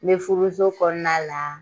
N bɛ furuso kɔnɔna la